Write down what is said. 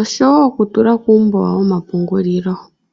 osho woo okutula kuumbo womapungulilo.